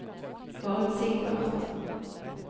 forutsigbart